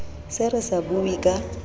se re sa bue ka